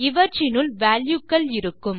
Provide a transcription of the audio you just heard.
இவற்றினுள் values க்கள் இருக்கும்